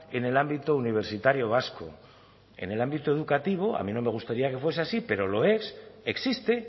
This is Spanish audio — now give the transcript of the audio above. en el ámbito universitario vasco en el ámbito educativo a mí no me gustaría que fuese así pero lo es existe